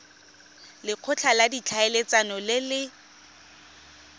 lekgotla la ditlhaeletsano le le